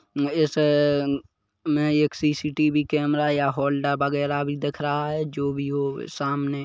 इस-- में एक C C T V camera या होल्डर वागेरा भी दिख रहा है जो भी हो सामने--